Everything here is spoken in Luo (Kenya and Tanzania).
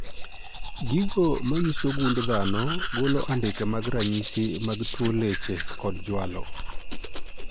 Gigo manyiso gund dhano golo andike mag ranyisi mag tuo leche kod jwalo